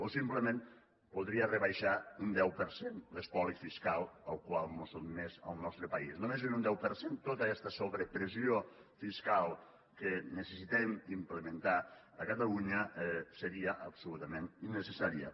o simplement podria rebaixar un deu per cent l’espoli fiscal al qual mos sotmès al nostre país només és un deu per cent tota aquesta sobrepressió fiscal que necessitem implementar a catalunya seria absolutament innecessària